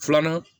Filanan